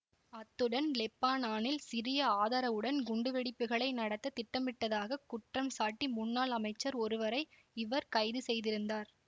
அத்துடன் லெப்பானானில் சிரிய ஆதரவுடன் குண்டுவெடிப்புகளை நடத்த திட்டமிட்டதாகக் குற்றம் சாட்டி முன்னாள் அமைச்சர் ஒருவரை இவர் கைது செய்திருந்தார்